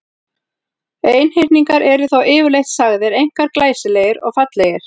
Einhyrningar eru þó yfirleitt sagðir einkar glæsilegir og fallegir.